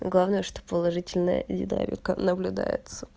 главное что положительная динамика наблюдается